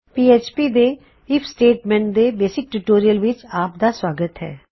PHP ਦੇ ਇਸ basic tutorial ਵਿੱਚ ਆਪਦਾ ਸੁਆਗਤ ਹੈ